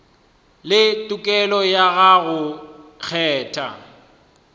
le tokelo ya go kgetha